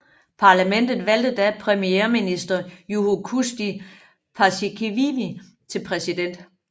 Parlamentet valgte da premierminister Juho Kusti Paasikivi til præsident